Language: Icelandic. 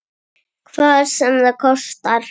Hvað sem það kostar.